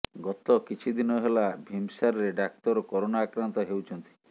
ଗତକିଛି ଦିନ ହେଲା ଭୀମ୍ସାରେ ଡାକ୍ତର କରୋନା ଆକ୍ରାନ୍ତ ହେଉଛନ୍ତି